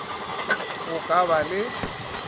k go ka ba le